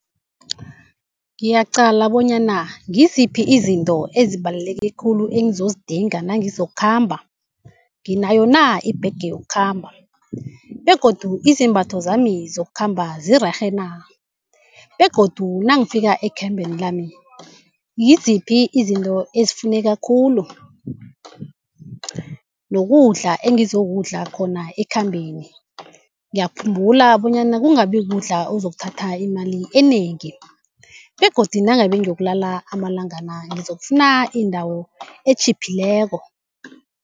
Ngiyaqala bonyana ngiziphi izinto ezibaluleke khulu engizozidinga nangizokukhamba. Nginayo na ibhege yokukhamba begodu izembatho zami zokukhamba zirerhena begodu nangifika ekhambeni lami ngiziphi izinto ezifuneka khulu, nokudla engizokudla khona ekhambeni ngiyakhumbula bonyana kungabi kudla okuzokuthatha imali enengi begodu nangabe ngiyokulala amalangana ngizokufuna indawo etjhiphileko.